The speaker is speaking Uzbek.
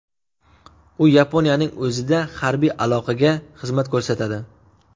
U Yaponiyaning o‘zida harbiy aloqaga xizmat ko‘rsatadi.